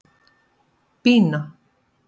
Bína